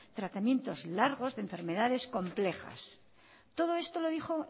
tratamientos largos de enfermedades complejas todo esto lo dijo